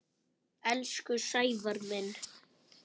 Elsku Sævar minn.